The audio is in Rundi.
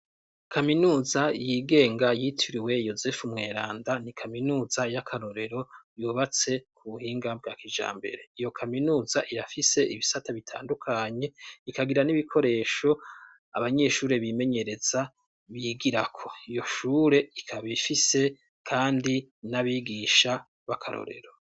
Kaminuza yigenga yitiriwe Yosefu Mweranda ,ni kaminuza y'akarorero yubatse ku buhinga bwa kijambere. Iyo kaminuza irafise ibisata bitandukanye, ikagira n'ibikoresho abanyeshuri bimenyereza bigirako. Iyo shure ikaba ifise kandi n'abigisha b'akarorero.